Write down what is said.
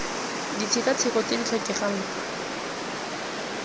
ditshekatsheko tse di tlhokegang fa